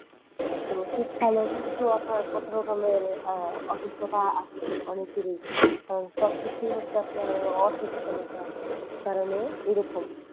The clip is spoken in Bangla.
তো রসিদ খানের ও কিন্তু আপনার কথা থটা অসুস্থতা আছে অনেকের ই সব কিছুই হচ্ছে আপনার অসচেতনতার কারনে এইরকম।